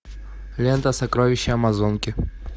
лента сокровища амазонки